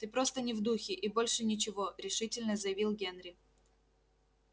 ты просто не в духе и больше ничего решительно заявил генри